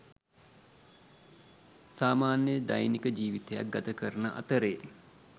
සාමාන්‍ය දෛනික ජීවිතයක් ගතකරන අතරේ